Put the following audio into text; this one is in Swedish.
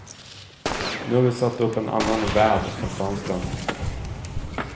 Nu har vi satt upp annan väv för fönstren.